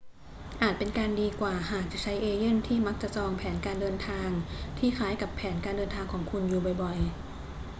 อาจเป็นการดีกว่าหากจะใช้เอเย่นต์ที่มักจะจองแผนการเดินทางที่คล้ายกับแผนการเดินทางของคุณอยู่บ่อย ๆ